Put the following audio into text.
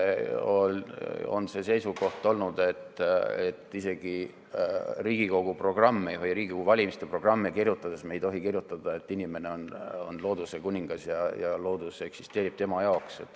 On olnud seisukoht, et isegi Riigikogu valimiste programme kirjutades ei tohi me kirjutada, et inimene on looduse kuningas ja loodus eksisteerib tema jaoks.